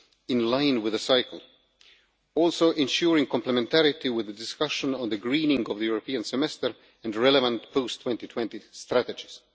in line with the cycle, also ensuring complementarity with the discussion on the greening of the European Semester and the relevant post-2020 strategies.